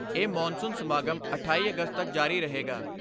ਇਹ ਮਾਨਸੂਨ ਸਮਾਗਮ ਅਠਾਈ ਅਗਸਤ ਤੱਕ ਜਾਰੀ ਰਹੇਗਾ।